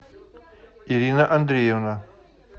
ирина андреевна